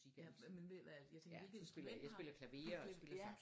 Ja men ved du hvad jeg tænkte hvilket instrument har du